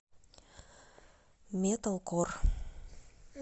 металкор